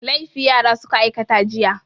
Laifi yara suka aikata jiya.